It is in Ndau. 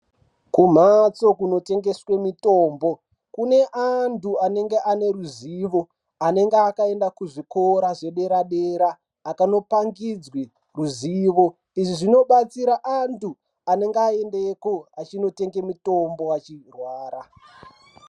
Kumphatso kunotengeswe mutombo kune antu anenge ane ruzivo anenga akaenda kuzvikoro zvedera dera akanopangidzwe ruzivo izvi zvinobatsira antu anenge aendeko achinotenge mutombo achirwara.